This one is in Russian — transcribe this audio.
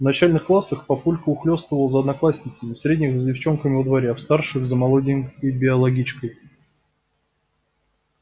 в начальных классах папулька ухлёстывал за одноклассницами в средних за девчонками во дворе в старших за молоденькой биологичкой